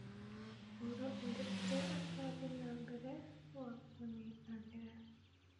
hũra ũndũ ũrĩa ũrathiĩ na mbere wa kũnyitanĩra